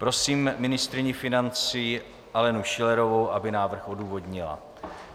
Prosím ministryni financí Alenu Schillerovou, aby návrh odůvodnila.